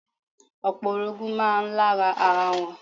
Opo orogun máa ń lára ara wọn.